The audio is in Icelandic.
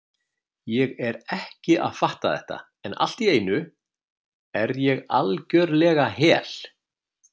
Ég er ekki að fatta þetta, en allt í einu er ég algjörlega hel